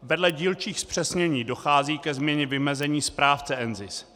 Vedle dílčích zpřesnění dochází ke změně vymezení správce NZIS.